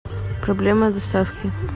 проблема доставки